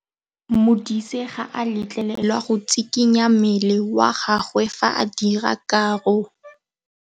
Modise ga a letlelelwa go tshikinya mmele wa gagwe fa ba dira karô.